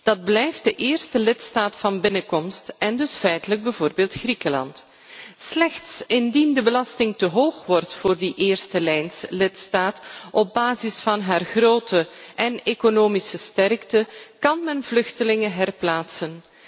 Dat blijft de eerste lidstaat van binnenkomst en dus feitelijk bijvoorbeeld Griekenland. Slechts indien de belasting te hoog wordt voor die eerstelijnslidstaat op basis van haar grootte en economische sterkte, kan men vluchtelingen herplaatsen.